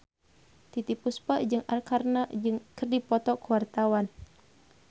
Titiek Puspa jeung Arkarna keur dipoto ku wartawan